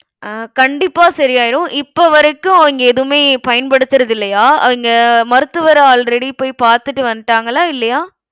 அஹ் கண்டிப்பா சரியாயிடும். இப்ப வரைக்கும் அவிங்க எதுவுமே பயன்படுத்துறது இல்லையா? அவிங்க மருத்துவர already போய் பார்த்துட்டு வந்துட்டாங்களா இல்லையா?